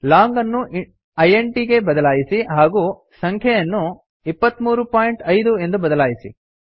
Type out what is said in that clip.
long ಅನ್ನು int ಗೆ ಬದಲಾಯಿಸಿ ಹಾಗೂ ಸಂಖ್ಯೆಯನ್ನು 235 ಎಂದು ಬದಲಾಯಿಸಿ